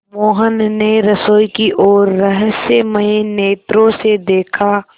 मोहन ने रसोई की ओर रहस्यमय नेत्रों से देखा